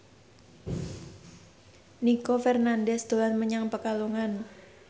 Nino Fernandez dolan menyang Pekalongan